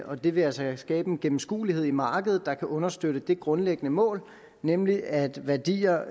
og det vil altså skabe en gennemskuelighed i markedet der kan understøtte det grundlæggende mål nemlig at værdier